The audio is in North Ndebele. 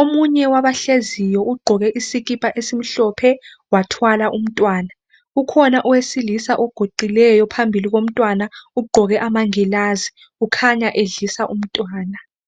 Omunye wabahleziyo ugqoke isikipa esimhlophe wathwala umntwana. Ukhona owesilisa oguqileyo phambili komntwana. Ugqoke amangilazi, ukhanya edlisa umntwana .